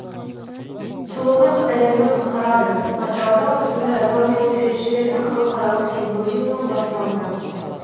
сұлулық әлемді құтқарады атырауда осындай атаумен суретшілердің халықаралық симпозиумы басталды